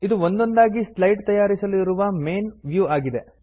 ಇದು ಒಂದೊಂದಾಗಿ ಸ್ಲೈಡ್ ತಯಾರಿಸಲು ಇರುವ ಮೈನ್ ವ್ಯೂ ಆಗಿದೆ